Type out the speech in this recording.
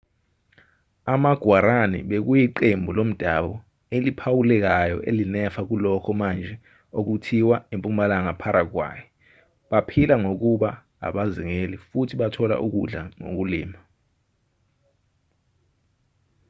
ama-guarani bekuyiqembu lomdabu eliphawulekayo elinefa kulokho manje okuthiwa impumalanga paraguay baphila ngokuba abazingeli futhi bathola ukudla ngokulima